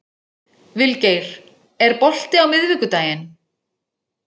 Vilgeir, er bolti á miðvikudaginn?